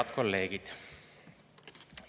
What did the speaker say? Head kolleegid!